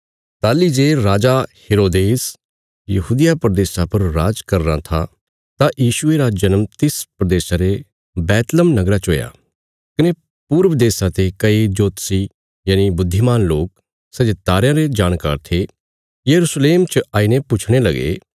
ताहली जे राजा हेरोदेस यहूदिया प्रदेशा पर राज़ करीराँ था तां यीशुये रा जन्म तिस प्रदेशा रे बैतलहम नगरा च हुया कने पूर्व देशा ते कई जोतषी बुद्धिमान लोक सै जे तारयां रे जाणकार थे यरूशलेम च आईने पुछणे लगे